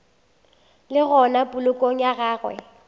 le gona polokong ya gagwe